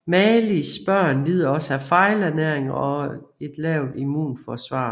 Malis børn lider også af fejlernæring og en lavt immunforsvar